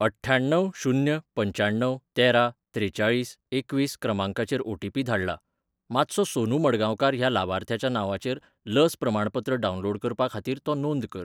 अठ्ठ्याण्णव शून्य पंच्याण्णव तेरा त्रेचाळीस एकवीस क्रमांकाचेर ओटीपी धाडला. मातसो सोनू मडगावकार ह्या लावार्थ्याच्या नांवाचेर लस प्रमाणपत्र डावनलोड करपा खातीर तो नोंद कर.